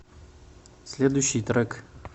следующий трек